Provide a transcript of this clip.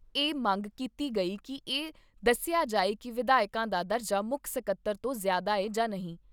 ਇਹ ਮੰਗ ਕੀਤੀ ਗਈ ਕਿ ਇਹ ਦੱਸਿਆ ਜਾਏ ਕਿ ਵਿਧਾਇਕ ਦਾ ਦਰਜਾ ਮੁੱਖ ਸਕੱਤਰ ਤੋਂ ਜ਼ਿਆਦਾ ਐ ਜਾਂ ਨਹੀਂ।